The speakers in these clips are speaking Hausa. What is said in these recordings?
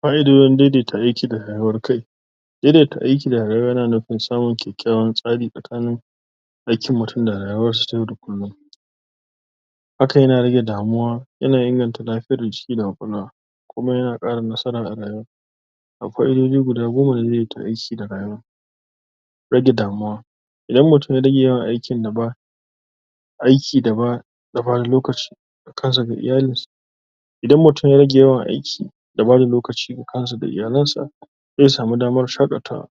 Fa'idojin daidaita aiki da rayuwar kai. Daidaita aiki da rayuwa yana nufin samun kyakkyawan tsari tsakani aikin mutum da rayuwarsa ta yau da kullum. Hakan yana rage damuwa yana inganta lafiyar jiki da ƙwaƙwalwa. Kuma yana ƙara nasara a rayuwa. Akwai daidai guda goma da zai tasiri ga rayuwa. Rage damuwa. Idan mutum yarage aikin da ba Aiki da ba Idan mutum ya rage yawan aiki, da bada lokaci ga kansa da iyalansa, zai samu damar shaƙatawa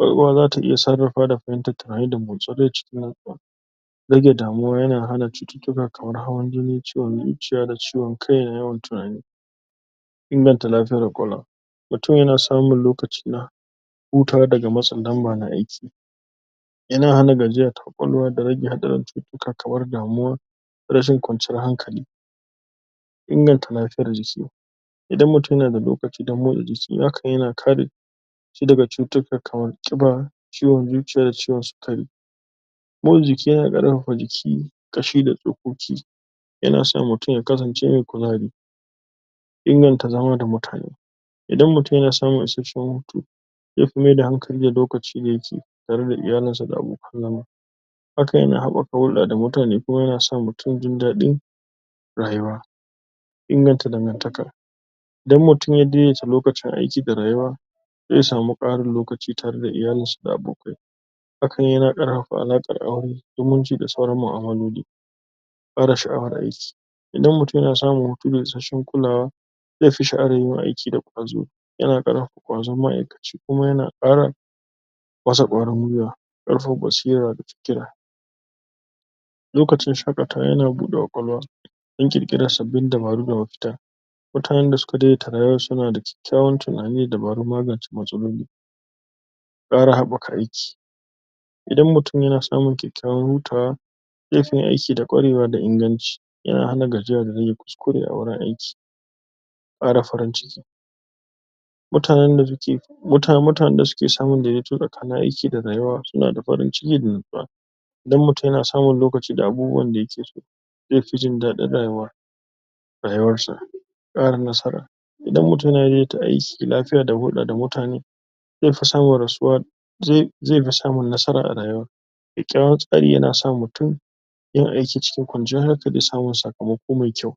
Rayuwa za ta iya sarrafa, da fahimtar tunani da Rage damuwa yana rage cututtuka kamar, hawan jini, ciwon zuciya da ciwon kai, da yawan tunani. Inganta lafiyar ƙwaƙwalwa. Mutum yana samun lokaci na hutawa daga matsin lamba na aiki. Yana hana gajiya ta ƙwaƙwalwa da rage hatsarin cututtuka kamar damuwa, rashin kwanciyar hankali. Inganta lafiyar jiki. Idan mutun yana da lokaci don motsa jiki, hakan yana kare shi daga cututtuka kamar, ƙiba, ciwon zuciya da ciwon sikari. Motsa jiki yana ƙarfafa jiki, ƙashi da tsokoki. Yana sa mutum ya kasance mai kuzari Inganta zama da mutane. Idan mutun yana samun isasshen hutu, zai fi maida hankali da lokacin da yake, tare da iyalinsa da abokan zama. Hakan yana haɓaka hulɗa da mutane, kuma yana sa mutum jin daɗin rayuwa. Inganta dangantaka. Idan mutum ya daidaita lokacin aiki ga rayuwa, zai samu ƙarin lokaci, tare da iyalisa da abokai. Hakan yana ƙarfafa alaƙar aure, zumunci da sauran ma'amaloli. Ƙara sha'awar aiki. Idan mutun yana samu hutu da isasshen kulawa, zai fi sha'awar yin aiki da ƙwazo. Yana ƙarfafa ƙwazon ma'aikaci, kuma yana ƙara masa ƙwarin guiwa, ƙarkafafa basira da fikira. Lokacin shaƙatawa yana buɗe ƙwaƙwalwa. Yin ƙirƙirar sabbin dabaru da mafita. Mutanen da suka daidaita rayuwarsu, suna da kyakkyawan tunanin da dabarun magance matsaloli. Ƙara haɓɓaka aiki. Idan mutum yana samun kyakkyawan hutawa, zai fiye yin aiki da ƙwarewa da inganci. yana hana gajiya da rage kuskure a wajen aiki. Ƙara farin ciki. Mutanen da suke. Mutanen da suke samun daidaito tsakanin aiki da rayuwa, suna da farin ciki da natsuwa. Idan mutun yana samun lokaci da abubuwan da yake so, zai fi jin daɗin rayuwa, rayuwarsa. Ƙara nasara. Idan mutum yana daidaita aiki, da lafiya da hulɗa da mutane, zai fi samun nasara zai fi samun nasara a rayuwa. Kyakkyawan tsarin yana sa mutum yin aiki cikin kwanciyar hankali da samun sakamako mai kyau.